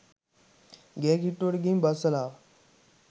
ගේ කිට්ටුවට ගිහින් බස්සලා ආවා.